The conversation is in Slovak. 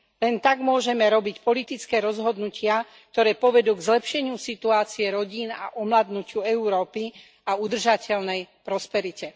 Len tak môžeme robiť politické rozhodnutia, ktoré povedú k zlepšeniu situácie rodín a omladnutiu Európy a udržateľnej prosperite.